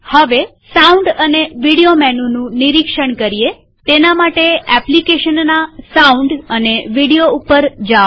હવે સાઉન્ડ અને વિડીયો મેનુનું નિરીક્ષણ કરીએતેના માટે એપ્લીકેશનના સાઉન્ડ અને વિડીયો ઉપર જાઓ